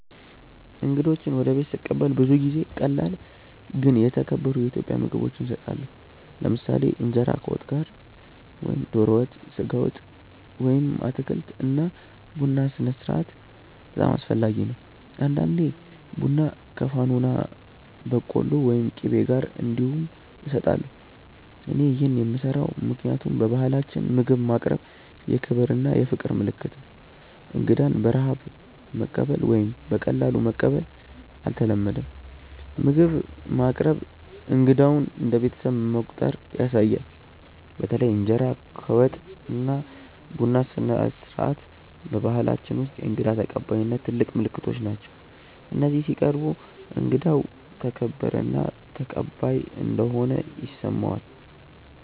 እንግዶችን ወደ ቤት ስቀበል ብዙ ጊዜ ቀላል ግን የተከበሩ የኢትዮጵያ ምግቦች እሰጣለሁ። ለምሳሌ እንጀራ ከወጥ ጋር (ዶሮ ወጥ፣ ስጋ ወጥ ወይም አትክልት) እና ቡና ስነስርዓት በጣም አስፈላጊ ነው። አንዳንዴ ቡና ከፋኖና በቆሎ ወይም ቂቤ ጋር እንዲሁም እሰጣለሁ። እኔ ይህን የምሰራው ምክንያቱም በባህላችን ምግብ ማቅረብ የክብር እና የፍቅር ምልክት ነው። እንግዳን በረሃብ ማቀበል ወይም በቀላሉ መቀበል አይተለመድም፤ ምግብ ማቅረብ እንግዳውን እንደ ቤተሰብ መቆጠር ያሳያል። በተለይ እንጀራ ከወጥ እና ቡና ስነስርዓት በባህላችን ውስጥ የእንግዳ ተቀባይነት ትልቅ ምልክቶች ናቸው፤ እነዚህ ሲቀርቡ እንግዳው ተከበረ እና ተቀባይ እንደሆነ ይሰማዋል።